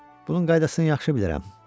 Bunun qaydasını yaxşı bilirsən.